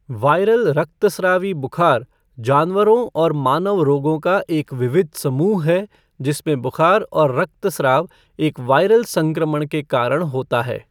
Viral रक्तस्रावी बुखार जानवरों और मानव रोगों का एक विविध समूह है जिसमें बुखार और रक्तस्राव एक वायरल संक्रमण के कारण होता है।